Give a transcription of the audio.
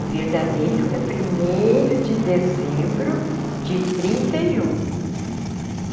O verdadeiro é primeiro de dezembro de trinta e um.